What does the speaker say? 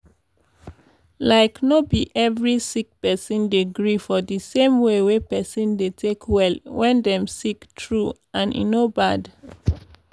like no be every sick person dey gree for d same way wey pesin dey take well wen dem sick true and e no bad.